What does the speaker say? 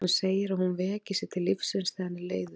Hann segir að hún veki sig til lífsins þegar hann er leiður.